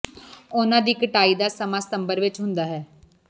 ਉਨ੍ਹਾਂ ਦੀ ਕਟਾਈ ਦਾ ਸਮਾਂ ਸਤੰਬਰ ਵਿਚ ਹੁੰਦਾ ਹੈ